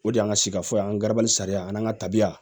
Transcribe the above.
O de y'an ka sikaso yan an gabanin sariya ani an ka tabiya